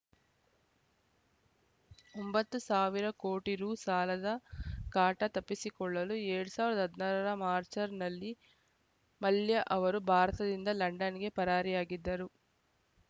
ಒಂಬತ್ತು ಸಾವಿರ ಕೋಟಿ ರು ಸಾಲದ ಕಾಟ ತಪ್ಪಿಸಿಕೊಳ್ಳಲು ಎರಡ್ ಸಾವಿರದ ಹದಿನಾರರ ಮಾಚ್‌ರ್‍ನಲ್ಲಿ ಮಲ್ಯ ಅವರು ಭಾರತದಿಂದ ಲಂಡನ್‌ಗೆ ಪರಾರಿಯಾಗಿದ್ದರು